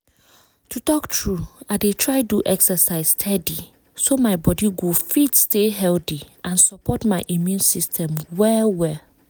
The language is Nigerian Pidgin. to talk true i dey try do exercise steady so my body go fit stay healthy and support my immune system well well